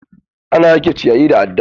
Ana yanke ciyayi da adda.